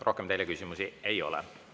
Rohkem teile küsimusi ei ole.